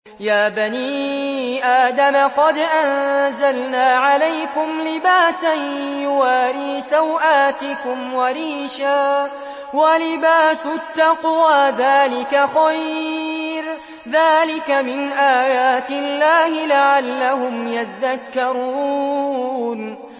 يَا بَنِي آدَمَ قَدْ أَنزَلْنَا عَلَيْكُمْ لِبَاسًا يُوَارِي سَوْآتِكُمْ وَرِيشًا ۖ وَلِبَاسُ التَّقْوَىٰ ذَٰلِكَ خَيْرٌ ۚ ذَٰلِكَ مِنْ آيَاتِ اللَّهِ لَعَلَّهُمْ يَذَّكَّرُونَ